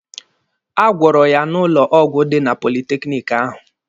A gwọrọ ya n'ụlọ ọgwụ dị na politekiniki ahụ.